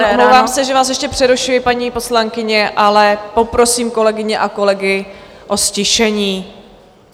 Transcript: Pardon, omlouvám se, že vás ještě přerušuji, paní poslankyně, ale poprosím kolegyně a kolegy o ztišení.